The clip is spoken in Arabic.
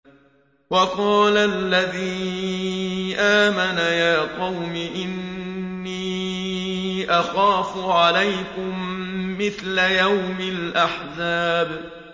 وَقَالَ الَّذِي آمَنَ يَا قَوْمِ إِنِّي أَخَافُ عَلَيْكُم مِّثْلَ يَوْمِ الْأَحْزَابِ